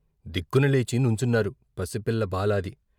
దిగ్గున లేచి నుంచున్నారు పసిపిల్ల బాలాది.